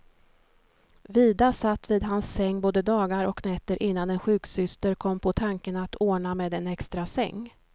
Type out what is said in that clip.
Vida satt vid hans säng både dagar och nätter innan en sjuksyster kom på tanken att ordna med en extrasäng.